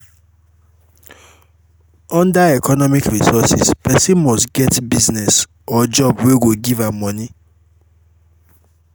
under economic resources persin must get business or job wey go give am moni